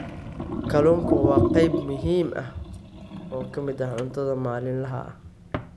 Kalluunku waa qayb muhiim ah oo ka mid ah cuntada maalinlaha ah.